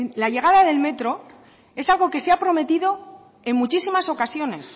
la llegada del metro es algo que se ha prometido en muchísimas ocasiones